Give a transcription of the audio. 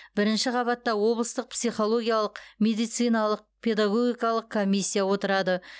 бірінші қабатта облыстық психологиялық медициналық педагогикалық комиссия отырады